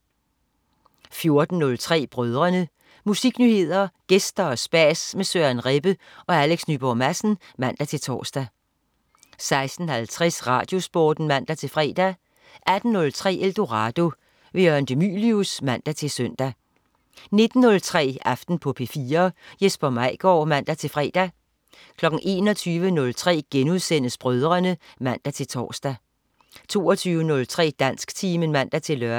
14.03 Brødrene. Musiknyheder, gæster og spas med Søren Rebbe og Alex Nyborg Madsen (man-tors) 16.50 RadioSporten (man-fre) 18.03 Eldorado. Jørgen de Mylius (man-søn) 19.03 Aften på P4. Jesper Maigaard (man-fre) 21.03 Brødrene* (man-tors) 22.03 Dansktimen (man-lør)